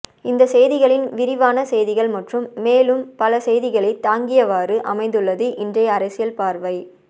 இந்த செய்திகளின் விரிவான செய்திகள் மற்றும் மேலும் பல செய்திகளை தாங்கியவாறு அமைந்துள்ளது இன்றைய அரசியல் பார்வை